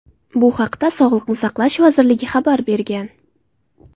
Bu haqda Sog‘liqni saqlash vazirligi xabar bergan.